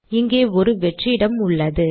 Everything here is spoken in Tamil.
இங்கே ஒரு வெற்று இடம் உள்ளது